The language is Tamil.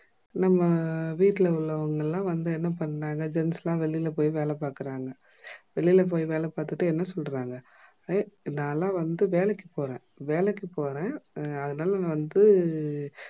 நம்ப வீட்டுல உள்ளவங்க எல்லாம் வந்து என்ன பண்ணுறாங்க? jeans லா வெளில போய் வேலைபாக்குறாங்க. வெளியில வேல பாத்துட்டு என்ன சொல்லுறாங்க? நாலாம் வந்து வேலைக்கு போறன் வேலைக்கு போறன் அஹ் அதுனால வந்து,